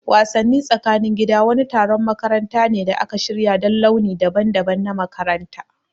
Wassani tsakanin gida wani taron makaranta ne da aka shirya don launi daban-daban na makaranta.